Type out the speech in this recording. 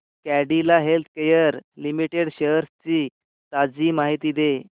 Cadila healthcare limited shares ची ताजी माहिती दे